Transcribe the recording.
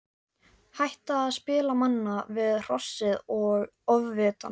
Hætta að spila manna við Hrossið og Ofvitann.